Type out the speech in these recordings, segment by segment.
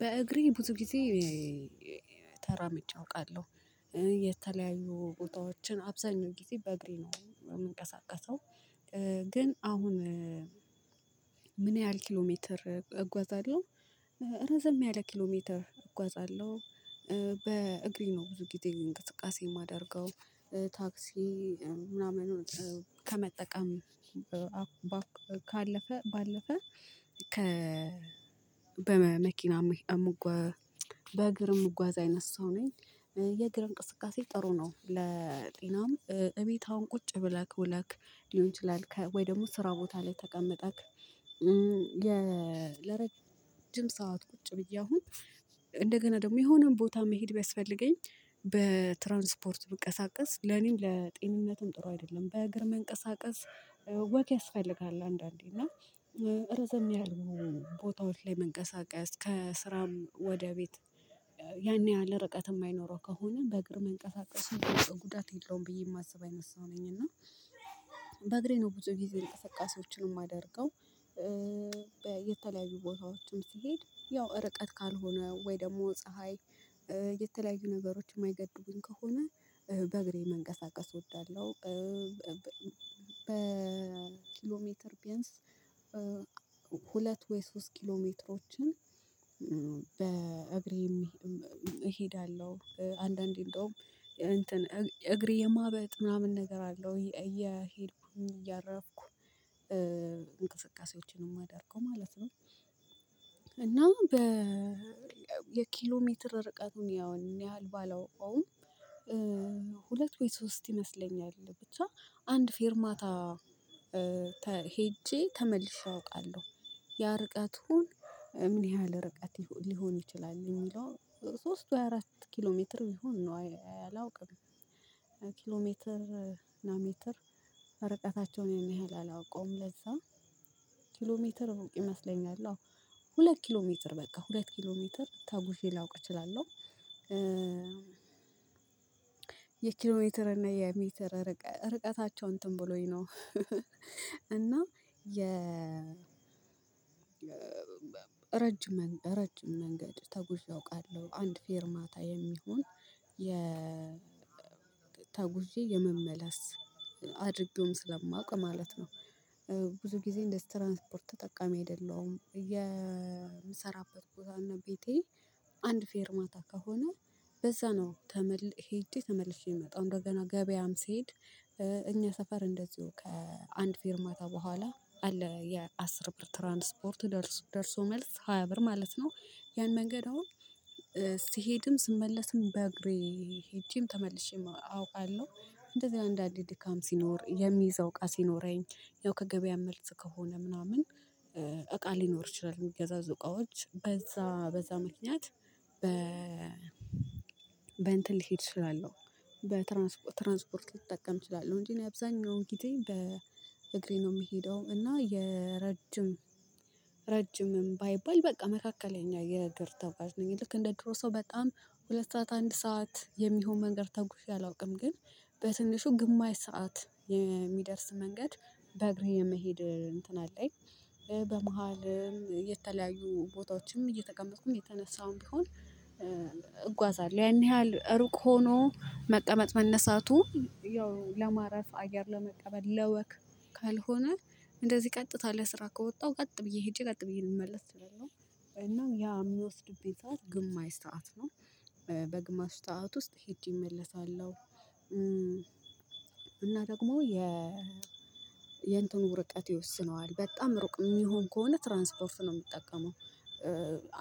በእግሬ ብዙ ጊዜ ተራምጄ አውቃለሁ። የተለያዩ ቦታዎችን አብዛኛው ጊዜ በእግሬ ነው የምንቀሳቀሰው ግን አሁን ምን ያህል ኪሎ ሜትር እጓዛለሁ? ረዘም ያለ ኪሎ ሜትር እጓዛለሁ። በእግሬ ነው ብዙ ጊዜ እንቅስቃሴ የማደርገው። ታክሲ ምናምን ከመጠቀም ካለፈ ባለፈ ከ በመኪና የምጓ በእግር የምጓዝ አይነት ሰው ነኝ። የእግር እንቅስቃሴ ጥሩ ነው ለጤናም፤ እቤት አሁን ቁጭ ብለህ ውለህ ሊሆን ይችላል፣ ወይ ደግሞ ስራ ቦታ ላይ ተቀመጠክ የ ለረጅም ሰዓት ቁጭ ብዬ አሁን እንደገና ደግሞ የሆነ ቦታ መሄድ ቢያስፈልገኝ በትራንስፖርት ብንቀሳቀስ ለኔም ለጤንነትም ጥሩ አይደለም። በእግር መንቀሳቀስ ወክ ያስፈልጋል አንዳንዴ እና ረዘም ያለሆኑ ቦታዎች ላይ መንቀሳቀስ ከስራም ወደ ቤት ያን ያህል ርቀት የማይኖረው ከሆነ በእግር መንቀሳቀስ በፍጹም ጉዳት የለውም ብዬ የማስብ አይነት ሰው ነኝ እና በእግሬ ነው ብዙ ጊዜ እንቅስቃሴዎችን የማደርገው ቦታዎችም ሲሄድ ያው ርቀት ካልሆነ ወይ ደግሞ ፀሀይ የተለያዩ ነገሮች የማይገድቡኝ ከሆነ በእግሬ መንቀሳቀስ እወዳለሁ። በኪሎሜትር ቢያንስ ሁለት ወይ ሶስት ኪሎሜትሮችን እሄዳለሁ። አንዳንዴ እንደውም እንትን እግሬ የማበጥ ምናምን ነገር አለው። እየሄድኩኝ እያረፍኩ እንቅስቃሴዎችን የማደርገው ማለት ነው። እና የኪሎ ሜትር ርቀቱን ያን ያህል ባላውቀውም፣ ሁለት ወይ ሶስት ይመስለኛል። ብቻ አንድ ፌርማታ ተ ሄጄ ተመልሼ አውቃለሁ። ያ ርቀት ምን ያህል ርቀት ሊሆን ይችላል የሚለው፣ ሶስት ወይ አራት ኪሎ ሜትር ቢሆን ነው አላውቅም። ኪሎሜትር እና ሜትር ርቀታቸውን ያን ያህል አላውቀውም። ለዛ ኪሎሜትር ሩቅ ይመስለኛል። አዎ፣ ሁለት ኪሎ ሜትር በቃ ሁለት ኪሎ ሜትር ተጉዤ ላውቅ እችላለሁ። የኪሎሜትር እና የሜትር ርቀታቸውን እንትን ብሎኝ ነው። ረጅም መ ረጅም መንገድ ተጉዤ አውቃለሁ። አንድ ፌርማታ የሚሆን የ ተጉዤ የመመለስ አድርጌውም ስለማውቅ ማለት ነው። ብዙ ጊዜ የትራንስፖርት ተጠቃሚ አይደለሁም። የምሰራበት ቦታና ቤቴ አንድ ፌርማታ ከሆነ በዛ ነው ተመል ሄጄ ተመልሼ የምመጣው። እንደገና ገበያም ስሄድ እኛ ሰፈር እንደዚሁ ከአንድ ፌርማታ በኋላ አለ የአስር ብር ትራንስፖርት ደርሶ ደርሶ መልስ ሃያ ብር ማለት ነው። ያን መንገድ አሁን ስሄድም ስመለስም በእግሬ ሄጄም ተመልሼም አውቃለሁ። እንደዚ አንዳንድ ድካም ሲኖር የሚይዘው እቃ ሲኖረኝ ያው ከገበያ መልስ ከሆነ ምናምን እቃ ሊኖር ይችላል የሚገዛዙ እቃዎች። በዛ በዛ ምክንያት በ ልሄድ እችላለሁ በትራንስፖርት ትራንስፖርት ልጠቀም እችላለሁ እንጂ፣ እኔ አብዛኛውን ጊዜ በእግሬ ነው የምሄደው እና የረጅም ረጅምም ባይባል በቃ መካከለኛ የእግር ተጓዠ ነኝ። ልክ እንደ ድሮ ሰው በጣም ሁለት ሰዓት አንድ ሰዓት የሚሆን መንገድ ተጉዤ አላውቅም። ግን በትንሹ ግማሽ ሰዓት የሚደርስ መንገድ በእግሬ መሄድ እንትን አለኝ። በመሃልም የተለያዩ ቦታዎችን እየተቀመጥኩም እየተነሳሁም ቢሆን እጓዛለሁ። ያን ያህል ሩቅ ሆኖ መቀመጥ መነሳቱ ያው ለማረፍ፣ አየር ለመቀበል፣ ለወክ ካልሆነ እንደዚህ ቀጥታ ለስራ ከወጣሁ ቀጥ ብዬ ሄጄ ቀጥ ብዬ ልመለስ እችላለሁ። እና ያ የሚወስድብኝ ሰዓት ግማሽ ሰዓት ነው። በግማሽ ሰዓት ውስጥ ሄጄ እመለሳለሁ። እና ደግሞ የ የእንትኑ ርቀት ይወስነዋል። በጣም ሩቅ የሚሆን ከሆነ ትራንስፖርት ነው የምጠቀመው።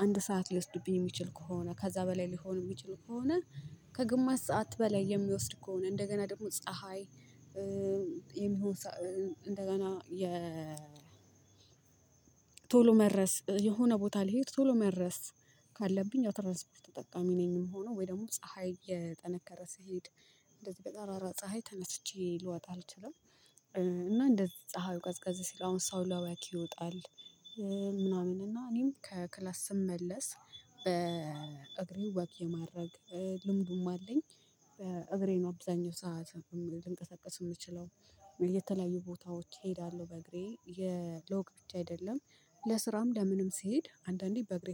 አንድ ሰዓት ሊወስድብኝ የሚችል ከሆነ ከዛ በላይ ሊሆን የሚችል ከሆነ ከግማሽ ሰዓት በላይ የሚወስድ ከሆነ እንደገና ደግሞ ፀሀይ የሚሆን እንደገና የ ቶሎ መድረስ፣ የሆነ ቦታ ልሄድ ቶሎ መድረስ ካለብኝ ትራንስፖርት ተጠቃሚ ነኝ የምሆነው ወይ ደግሞ ፀሀይ እየጠነከረ ስሄድ እንደዚህ በጠራራ ፀሀይ ተነስቼ ልወጣ አልችልም። እና እንደ ፀሀዩ ቀዝቀዝ ሲል አሁን ሰው ለወክ ይወጣል። ምናምን እና እኔም ከክላስ ስመለስ በእግሬ ወክ የማድረግ ልምዱም አለኝ። በእግሬ ነው አብዛኛው ሰዓት ልንቀሳቀስ የምችለው። የተለያዩ ቦታዎች እሄዳለሁ በእግሬ የ ለወክ ብቻ አይደለም ለስራም ለምንም ስሄድ አንዳንዴ በእግሬ